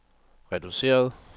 reduceret